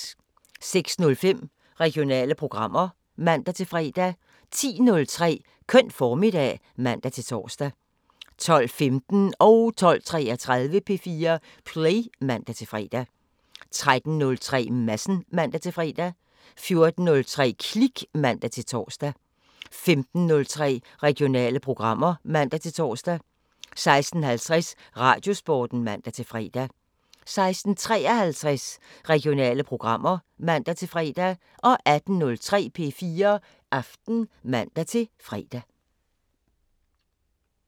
06:05: Regionale programmer (man-fre) 10:03: Køn formiddag (man-tor) 12:15: P4 Play (man-fre) 12:33: P4 Play (man-fre) 13:03: Madsen (man-fre) 14:03: Klik (man-tor) 15:03: Regionale programmer (man-tor) 16:50: Radiosporten (man-fre) 16:53: Regionale programmer (man-fre) 18:03: P4 Aften (man-fre)